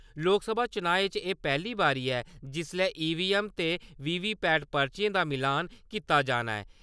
लोकसभा चुनाएं च एह् पैह्ली बारी ऐ जिसले ईवीएम ते वीवीपैट पर्चिएं दा मिलान कीता जाना ऐ।